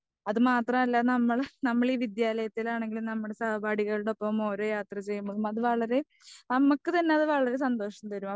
അതുമാത്രമല്ല നമ്മളെ നമ്മളീ വിദ്ത്യലയത്തിൽ ആണെങ്കിലും നമ്മുടെ സഹപാഠികളുടെയൊപ്പം ഓരോ യാത്ര ചെയ്യുമ്പോഴും നമുക്ക് തന്നെ വളരെ സന്തോഷം തരും.